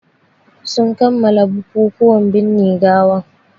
Sun kammala bukukuwan binne gawan